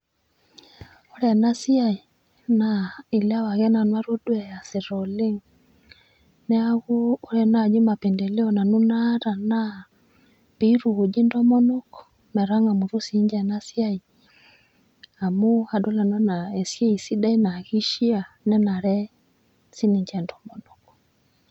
Ore ena siai naa ilewa ake nanu atodua easita oleng', neeku ore naaji mapendeleo nanu naata naa piitukuji ntomonok metang'amutu siininche ena siai amu adol nanu anaa esiai sidai naa keishia nenare siiniche intomonok.